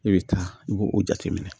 I bɛ taa i b'o o jateminɛ